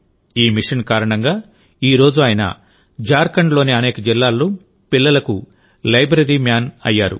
ఈ మిషన్ కారణంగాఈ రోజు ఆయన జార్ఖండ్లోని అనేక జిల్లాల్లో పిల్లలకు లైబ్రరీ మ్యాన్ అయ్యాడు